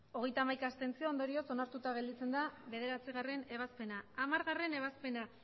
abstentzioak hogeita hamaika ondorioz onartuta gelditzen da bederatzigarrena ebazpena hamargarrena ebazpena